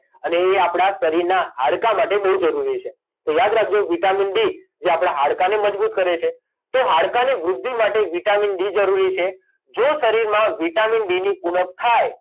અને એ આપડાં શરીરના હાડકાં માટે બહુ જરુરી છે તો યાદ રાખજો વિટામિન ડી જે આપડાં હાડકાંને મજબૂત કરે છે તો હાડકાંની વૃધ્ધિ માટે વિટામિન ડી જરૂરી છે જો શરીરમાં વિટામિન ડી ની ઉણપ થાય